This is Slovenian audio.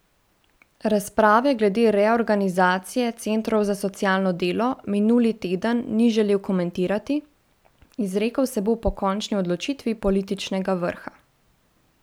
Razprave glede reorganizacije centrov za socialno delo minuli teden ni želel komentirati, izrekel se bo po končni odločitvi političnega vrha.